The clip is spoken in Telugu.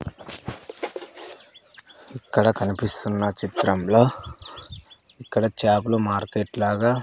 ఇక్కడ కనిపిస్తున్న చిత్రం లో ఇక్కడ చేపల మార్కెట్ లాగా --